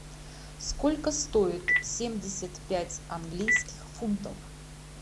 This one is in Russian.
сколько стоит семьдесят пять английских фунтов